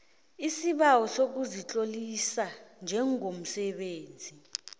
isibawo sokuzitlolisa njengomsebenzisi